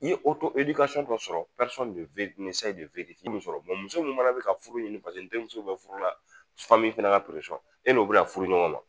N ye dɔ sɔrɔ muso min fana bɛ ka furu ɲini paseke n terimuso bɛ furu la, fana fana ka e n'o bɛna furu ɲɔgɔn ma!